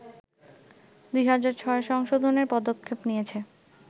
২০০৬ সংশোধনের পদক্ষেপ নিয়েছে